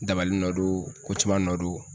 Dabali nɔ don ko caman nɔ don.